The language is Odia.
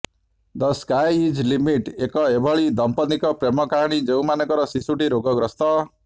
ଦ ସ୍କାଇ ଇଜ୍ ଲିମିଟ୍ ଏକ ଏଭଳି ଦମ୍ପତ୍ତିଙ୍କ ପ୍ରେମ କାହାଣୀ ଯେଉଁମାନଙ୍କର ଶିଶୁଟି ରୋଗଗ୍ରସ୍ତ